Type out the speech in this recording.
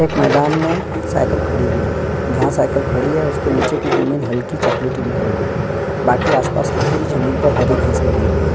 एक मैदान मे साइकल खड़ी हुई है जहां साइकल खड़ी है उसके निचे की जमीन हल्की सी चॉकलेटी दिख रही है बाकि आस पास की पूरी जमीन हरी दिख रही है।